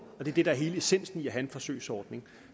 er det der er hele essensen i at have en forsøgsordning